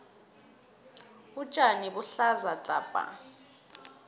utjani buhlaza hapa